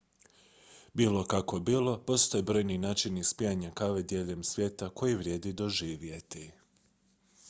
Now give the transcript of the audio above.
bilo kako bilo postoje brojni načini ispijanja kave diljem svijeta koje vrijedi doživjeti